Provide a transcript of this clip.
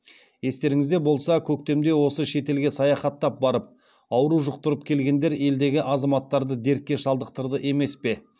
естеріңізде болса көктемде осы шетелге саяхаттап барып ауру жұқтырып келгендер елдегі азаматтарды дертке шалдықтырды емес пе